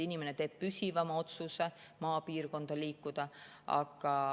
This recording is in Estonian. Inimene teeb püsivama otsuse maapiirkonda liikuda.